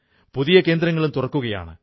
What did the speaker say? പുതിയ കേന്ദ്രങ്ങളും തുറക്കുകയാണ്